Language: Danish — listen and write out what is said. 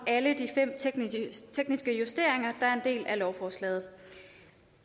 alle de fem tekniske justeringer der er en del af lovforslaget